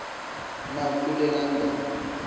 na kule london